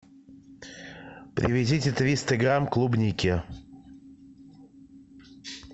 привезите триста грамм клубники